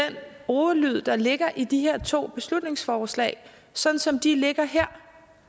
ordlyd der ligger i de her to beslutningsforslag sådan som de ligger her